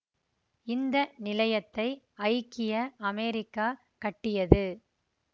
இந்த நிலையத்தை ஐக்கிய அமெரிக்கா கட்டியது